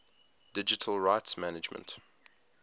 digital rights management